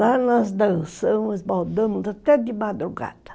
Lá nós dançamos, baldamos até de madrugada.